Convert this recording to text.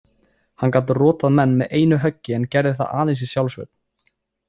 Hann gat rotað menn með einu höggi en gerði það aðeins í sjálfsvörn.